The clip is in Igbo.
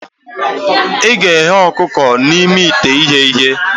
Ị ga-eghe ọkụkọ n'ime ite ighe ihe.